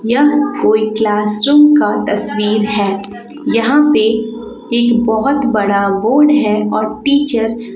यह कोई class room का तस्वीर है यहां पे एक बहुत बड़ा बोर्ड है और टीचर --